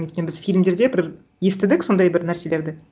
өйткені біз фильмдерде бір естідік сондай бір нәрселерді